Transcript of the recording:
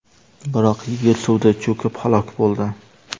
Biroq yigit suvda cho‘kib, halok bo‘ldi.